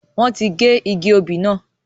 Wọn tí gé igi òbí náà.